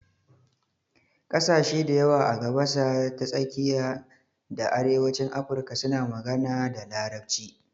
Ƙasashe dayawa a gabasa ta tsakiya da arewacin Afirka suna magana da Larabci.